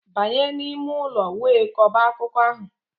Banye n'ime ụlọ wee kọba akụkọ ahụ!